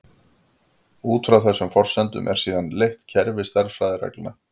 Út frá þessum forsendum er síðan leitt kerfi stærðfræðireglna.